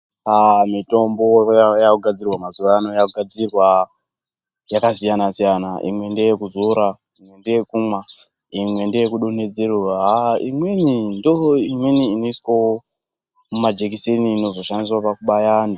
Aah mitombo yakugadzirwa mazuvaanaya yakugadzirwa yakasiyana siyana imwe ndeyekuzora imwe ndeye kumwa imwe ndeyeku donhedzerwa haa imweni ndoimweni inozoiswa mumajekiseni inozo shandiswa